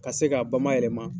Ka se k'a bamayɛlɛma.